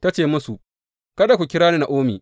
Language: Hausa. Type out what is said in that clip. Ta ce musu, Kada ku kira ni Na’omi.